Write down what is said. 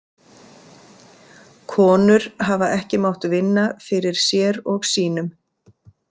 Konur hafa ekki mátt vinna fyrir sér og sínum.